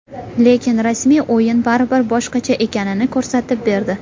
Lekin rasmiy o‘yin baribir boshqacha ekanini ko‘rsatib berdi.